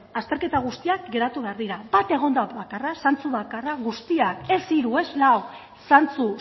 azterketa guztiak geratu behar dira bat egonda bakarra zantzu bakarra guztiak ez hiru ez lau zantzu